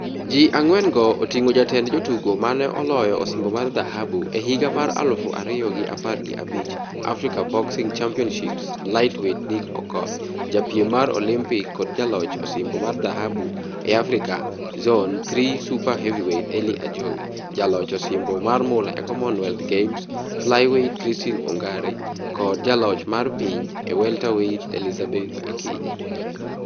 Ji ang'wen go oting'o jatend jotugo mano oloyo osimbo mar dhahabu e higa mar aluf ariyo gi apar gi abich Africa Boxing Championships lightweight Nick Okoth, japiem mar Olympik kod jaloch osimbo mar dhahabu e Africa Zone Three super heavyweight Elly Ajowi, jaloch osimbo mar mula e Commonwealth Games flyweight Christine Ongare kod jaloch mar piny e welterweight Elizabeth Akinyi.